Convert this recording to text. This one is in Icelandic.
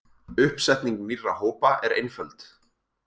Uppsetning nýrra hópa er einföld.